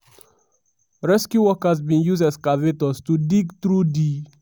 rescue workers bin use excavators to dig through di.